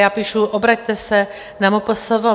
Já píši, obraťte se na MPSV.